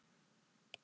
Hann gerir það.